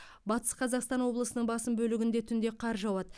батыс қазақстан облысының басым бөлігінде түнде қар жауады